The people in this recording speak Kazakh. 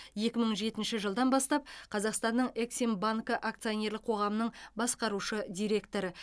екі мың жетінші жылдан бастап қазақстанның эксимбанкі акционерлік қоғамының басқарушы директоры